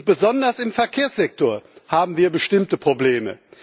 Besonders im Verkehrssektor haben wir bestimmte Probleme.